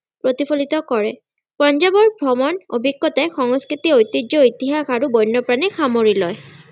প্ৰতিফলিত কৰে ।পঞ্জাৱৰ ভ্ৰমন অভিজ্ঞতাই সংস্কৃতি ঐতিহ্য ইতিহাস আৰু বন্যপ্ৰাণীক সামৰি লয়।